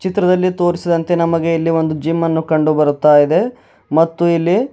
ಚಿತ್ರದಲ್ಲಿ ತೋರಿಸಿದಂತೆ ನಮಗೆ ಇಲ್ಲಿ ಒಂದು ಜಿಮ್ ಅನ್ನು ಕಂಡು ಬರುತಾಇದೆ ಮತ್ತು ಇಲ್ಲಿ--